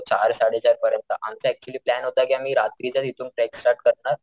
चार सडे चार परियंत आमचा ऍक्च्युली प्लॅन होता कि आम्ही रात्रीच हितून ट्रेक स्टार्ट करणार,